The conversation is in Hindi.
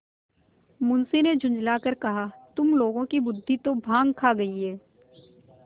मुंशी ने झुँझला कर कहातुम लोगों की बुद्वि तो भॉँग खा गयी है